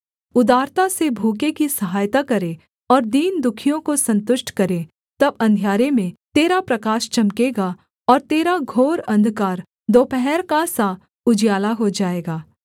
उदारता से भूखे की सहायता करे और दीन दुःखियों को सन्तुष्ट करे तब अंधियारे में तेरा प्रकाश चमकेगा और तेरा घोर अंधकार दोपहर का सा उजियाला हो जाएगा